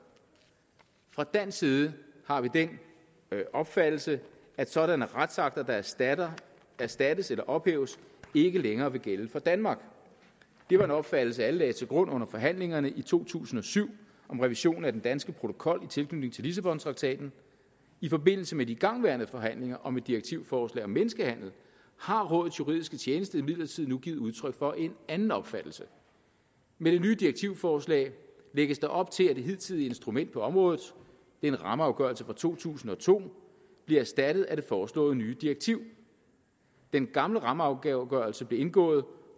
fra dansk side har vi den opfattelse at sådanne retsakter der erstatter erstattes eller ophæves ikke længere vil gælde for danmark det var en opfattelse alle lagde til grund under forhandlingerne i to tusind og syv om revision af den danske protokol i tilknytning til lissabontraktaten i forbindelse med de igangværende forhandlinger om et direktivforslag om menneskehandel har rådets juridiske tjeneste imidlertid nu givet udtryk for en anden opfattelse med det nye direktivforslag lægges der op til at det hidtidige instrument på området en rammeafgørelse fra to tusind og to bliver erstattet af det foreslåede nye direktiv den gamle rammeafgørelse blev indgået